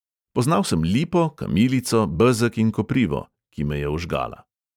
Poznal sem lipo, kamilico, bezeg in koprivo, ki me je ožgala ...